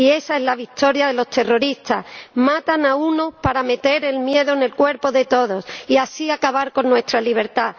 Y esa es la victoria de los terroristas matan a uno para meter el miedo en el cuerpo a todos y así acabar con nuestra libertad.